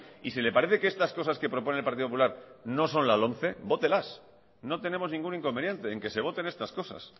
y si le parece que estas cosas que propone el partido popular no son la lomce vótelas no tenemos ningún inconveniente en que se voten estas cosas